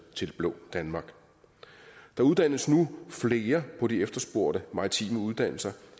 til det blå danmark der uddannes nu flere på de efterspurgte maritime uddannelser